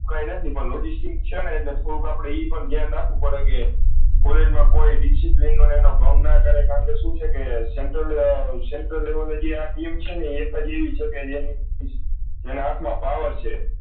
કાય નથી પણ logistics છે ને એટલે થોડુક આપળે એઈ પણ ધ્યાન રાખવુ પડે કે કોલેજ મા કોઈ discipline નો એનો ભંગ ના કરે કારણ કે શું છે કે central આ ડી એમ છ એને એ જેના હાથ મા power છે